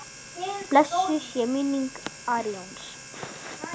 Hver vill elska fagott?